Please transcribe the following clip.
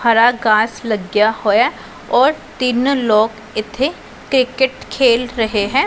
ਹਰਾ ਘਾਸ ਲੱਗਿਆ ਹੋਇਆ ਔਰ ਤਿੰਨ ਲੋਕ ਇੱਥੇ ਕ੍ਰਿਕਟ ਖੇਲ ਰਹੇ ਹੈ।